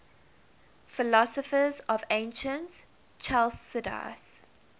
philosophers of ancient chalcidice